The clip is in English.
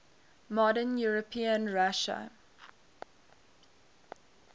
modern european russia